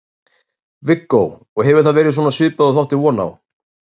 Viggó: og hefur það verið svona svipað og þú áttir von á?